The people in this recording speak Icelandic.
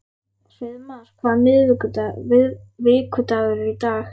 Hreiðmar, hvaða vikudagur er í dag?